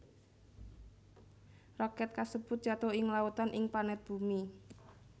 Roket kasèbut jatuh ing lautan ing planet bumi